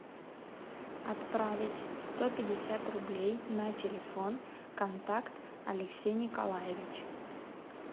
отправить сто пятьдесят рублей на телефон контакт алексей николаевич